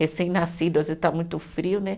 Recém-nascido, às vezes está muito frio, né?